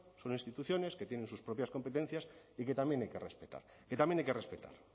son instituciones que tienen sus propias competencias y que también hay que respetar que también hay que respetar